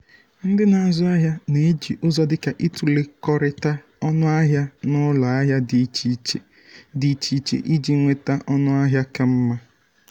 ndị na-azụ ahịa na-eji ụzọ dịka itụlekọrịta ọnụahịa n’ụlọ ahịa dị iche dị iche iche iji nweta ọnụahịa ka mma.